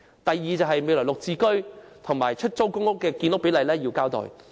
第二，政府要就"綠置居"和出租公屋的建屋比例作出交代。